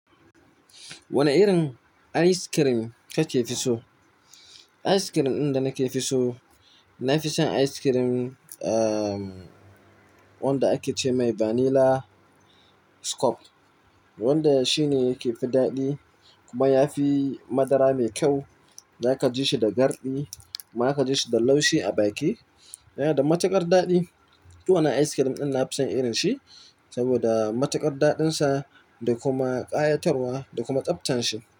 Wane irin ice cream kake fi so? Ice cream ɗin da nake fi so, nafison ice cream, ahhh, wanda ake ce mai vanilla scoop. Wanda shine yake fi daɗi kuma yafi madara mai kyau. Zaka ji shi da garɗi, ma ka ji shi da laushi a baki. Yana da matuƙar daɗi. Duk wannan ice cream ɗin nafison irin shi saboda matuƙar daɗin sa da kuma ƙayatarwa da kuma tsabtan shi.